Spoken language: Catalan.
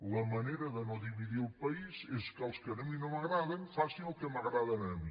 la manera de no dividir el país és que els que a mi no m’agraden que facin el que m’agrada a mi